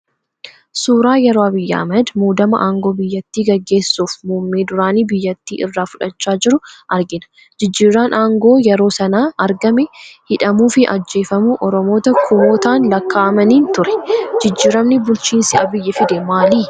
Suuraa yeroo Abiyyi Ahimad muudama aangoo biyyattii gaggeessuuf Muummee duraanii biyyattii irraa fudhachaa jiru argina. Jijjiirraan aangoo yeroo sana argame hidhamuu fi ajjeefamuu Oromoota kumootaan lakkaa'amaniin ture. Jijjiiramni bulchiinsi Abiyyii fide maali?